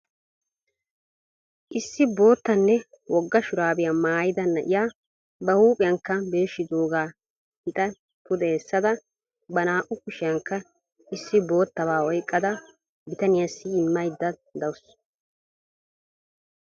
Issi boottanne wogga shuraabiya maayida na"iya ba huuphiyaaaka birshidoogaa pixa pude essada ba naa"u kushiyankka issi boottabaa oyqada bitaniyaassi immaydda dawusu.